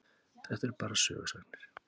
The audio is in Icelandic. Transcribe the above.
Þetta eru bara sögusagnir.